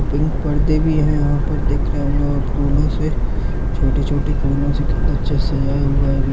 पिक पर्दे भी है यहां पर दिख रहे होंगे और फूलों से छोटे-छोटे फूलों से कितना अच्छा से सजाया हुआ है।